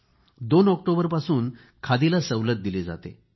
2 ऑक्टोबरपासून खादीला सवलत दिली जाते